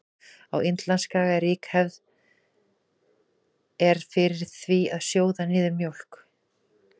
Á Indlandsskaga er rík hefð er fyrir því að sjóða niður mjólk.